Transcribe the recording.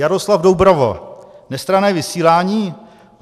Jaroslav Doubrava: Nestranné vysílání?